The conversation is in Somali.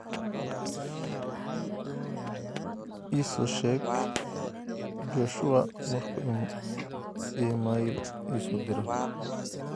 iso sheeg joshua marku iimayl isoo diro